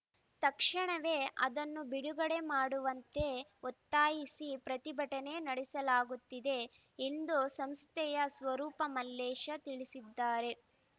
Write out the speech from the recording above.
ತಕ್ಷಣವೇ ಅದನ್ನು ಬಿಡುಗಡೆ ಮಾಡುವಂತೆ ಒತ್ತಾಯಿಸಿ ಪ್ರತಿಭಟನೆ ನಡೆಸಲಾಗುತ್ತಿದೆ ಎಂದು ಸಂಸ್ಥೆಯ ಸ್ವರೂಪ ಮಲ್ಲೇಶ ತಿಳಿಸಿದ್ದಾರೆ